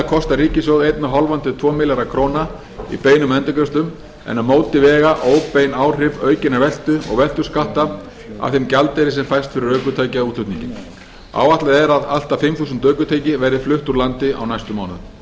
kosta ríkissjóð eins og hálft til tveggja milljarða króna í beinum endurgreiðslum en á móti vega óbein áhrif aukinnar veltu og veltuskatta af þeim gjaldeyri sem fæst fyrir ökutækjaútflutninginn áætlað er að allt að fimm þúsund ökutæki verði flutt úr landi á næstu mánuðum herra